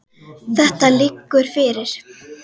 Þetta liggur fyrir.